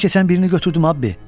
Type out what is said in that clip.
Əlimə keçən birini götürdüm Abbi.